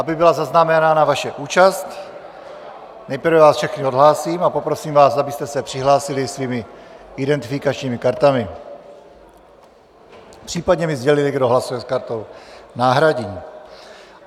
Aby byla zaznamenána vaše účast, nejprve vás všechny odhlásím a poprosím vás, abyste se přihlásili svými identifikačními kartami, případně mi sdělili, kdo hlasuje s kartou náhradní.